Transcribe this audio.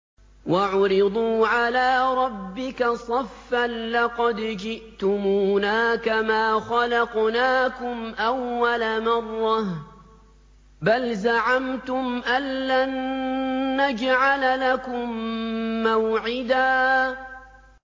وَعُرِضُوا عَلَىٰ رَبِّكَ صَفًّا لَّقَدْ جِئْتُمُونَا كَمَا خَلَقْنَاكُمْ أَوَّلَ مَرَّةٍ ۚ بَلْ زَعَمْتُمْ أَلَّن نَّجْعَلَ لَكُم مَّوْعِدًا